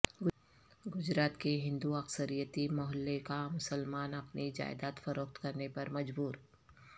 گجرات کے ہندو اکثریتی محلہ کا مسلمان اپنی جائیداد فروخت کرنے پر مجبور